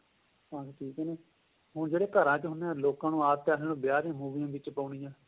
ਹਾਂਜੀ ਠੀਕ ਏ ਹੁਣ ਜਿਹੜਾ ਘਰਾਂ ਚ ਹੁੰਦੇ ਏ ਲੋਕਾਂ ਨੂੰ ਆਦਤ ਇਹਨੇ ਵਿਆਹ ਦੀਆਂ ਮੂਵੀਆਂ ਵਿੱਚ ਪਾਉਣੀਆਂ